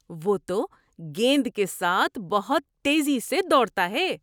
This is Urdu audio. وہ تو گیند کے ساتھ بہت تیزی سے دوڑتا ہے!